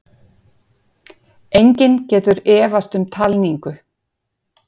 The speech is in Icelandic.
Enginn getur efast um talningu